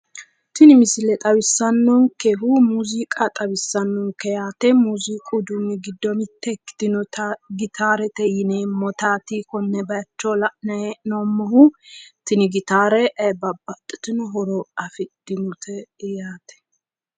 tini misile xawissannonkehu muziiqa xawissannonke yaate muziiqu uduunni giddo mitto ikkitinota gitaarete yineemmotaati konne bayiicho la'nanni heennommoti tini gitaare babaxitinno horo afidhinote yaate.